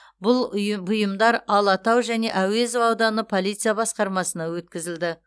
бұл ұйым бұйымдар алатау және әуезов ауданы полиция басқармасына өткізілді